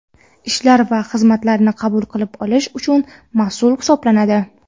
ishlar va xizmatlarni qabul qilib olish uchun mas’ul hisoblanadi.